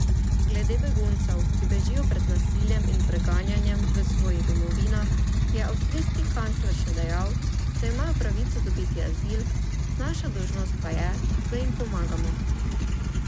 Glede beguncev, ki bežijo pred nasiljem in preganjanjem v svoji domovinah, je avstrijski kancler še dejal, da imajo pravico dobiti azil, naša dolžnost pa je, da jim pomagamo.